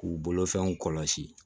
K'u bolofɛnw kɔlɔsi